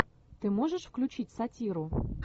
ты можешь включить сатиру